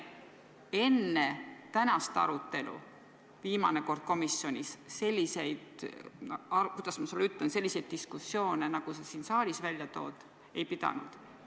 Me enne tänast arutelu viimane kord komisjonis – kuidas ma sulle ütlen – selliseid diskussioone, nagu sa siin saalis välja tood, ei pidanud.